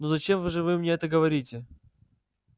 ну зачем вы же вы мне это говорите